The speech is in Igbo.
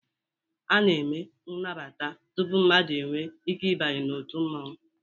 A na-eme nagbata tupu mmadụ enwee ike ịbanye n'òtù mmanwu